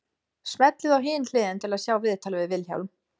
Smellið á Hin hliðin til að sjá viðtalið við Vilhjálm.